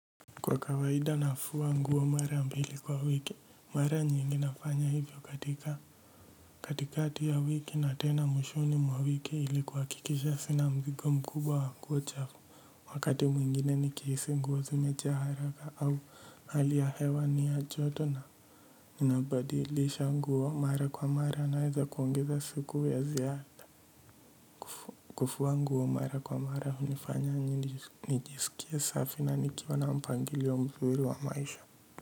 Kwa kawaida nafua nguo mara mbili kwa wiki mara nyingi nafanya hivyo katika katikati ya wiki na tena mwishoni mwa wiki ili kuhakikisha sina mzigo mkubwa wa nguo chafu wakati mwingine nikihisi nguo zimejaa haraka au hali ya hewa ni ya joto na ninabadilisha nguo mara kwa mara naeza kuongeza siku ya ziada kufua nguo mara kwa mara hunifanya nijisikie safi na nikiwa na mpangilio mzuri wa maisha.